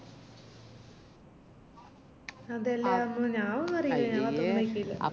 ഞാനൊന്നും അറിയില്ല ഞാൻ പത്രം വായിക്കലില്ല